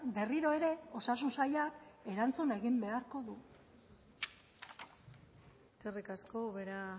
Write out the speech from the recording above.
berriro ere osasun saila erantzun egin beharko du eskerrik asko ubera